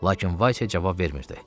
Lakin Vasia cavab vermirdi.